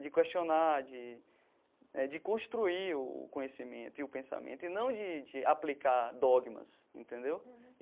De questionar, de eh de construir o conhecimento e o pensamento, e não de de aplicar dogmas, entendeu?